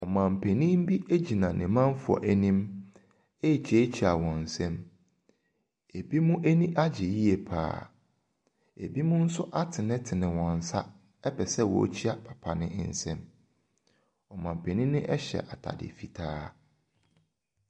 Ɔmanpanin bi gyina ne manfoɔ anim rekyeakyea wɔn nsam. Ebinom ani agye yie pa ara. Ebinom nso atenetene wɔn nsa pɛ sɛ wɔkyea papa no nsam. Ɔmanpanin no hyɛ atade fitaa.